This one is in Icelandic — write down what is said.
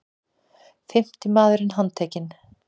Fimmti maðurinn handtekinn